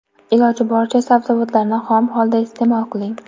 Iloji boricha sabzavotlarni xom holda iste’mol qiling.